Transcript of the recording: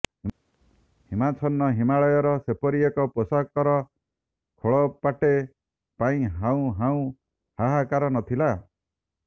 ହିମାଚ୍ଛନ୍ନ ହିମାଳୟର ସେପରି ଏକ ପୋଷାକର ଖୋଳପାଟେ ପାଇଁ ହାଉଁ ହାଉଁ ହାହାକାର ନ ଥିଲା